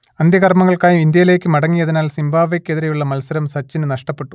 അന്ത്യകർമങ്ങൾക്കായി ഇന്ത്യയിലേക്ക് മടങ്ങിയതിനാൽ സിംബാബ്വേക്കെതിരേയുള്ള മത്സരം സച്ചിന് നഷ്ടപ്പെട്ടു